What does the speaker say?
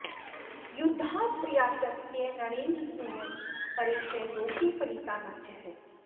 युद्धात्प्रयातस्य नरेन्द्रसूनो परे च लोके फलिता न चेह